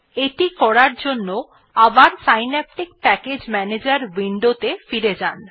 এটি করার জন্য এবার সিন্যাপটিক প্যাকেজ ম্যানেজার উইন্ডো ত়ে ফিরে যান